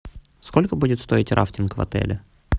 сколько будет стоить рафтинг в отеле